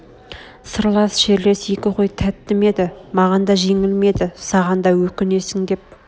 сырлас шерлес екі қой тәтті ме еді маған да жеңіл ме еді саған да өкнесің деп